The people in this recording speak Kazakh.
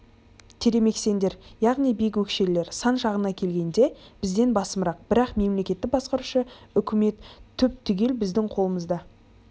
тремексендер яғни биік өкшелілері сан жағына келгенде бізден басымырақ бірақ мемлекетті басқарушы үкімет түп-түгел біздің қолымызда